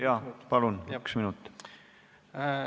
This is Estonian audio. Jaa, palun, üks minut!